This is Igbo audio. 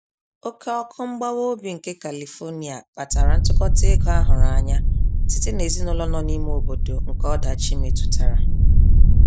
Oke ọkụ mgbawa obi nke Califonia kpatara ntụkọta ego a hụrụ anya site n'ezinụlọ nọ n'lme obodo nke ọdachi metụtara.